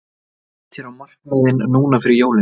Hvernig lýst þér á markaðinn núna fyrir jólin?